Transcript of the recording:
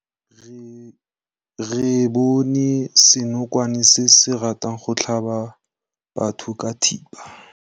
Re bone senokwane se se ratang go tlhaba batho ka thipa.